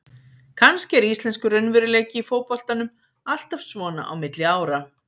Kannski er íslenskur raunveruleiki í fótboltanum alltaf svona á milli ára.